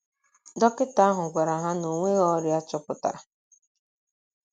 Dọkịta ahụ gwara ha na o nweghị ọrịa a chọpụtara um.